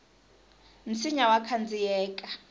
nsinya wa khandziyeka